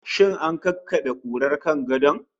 Shin an kakkabe kurar kan gadon?